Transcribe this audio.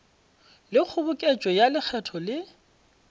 le kgoboketšo ya lekgetho le